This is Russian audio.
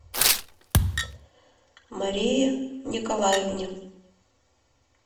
марии николаевне